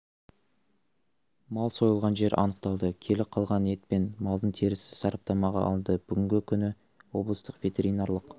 мал сойылған жер анықталды келі қалған ет пен малдың терісі сраптамаға алынды бүгінгі күні облыстық ветеринарлық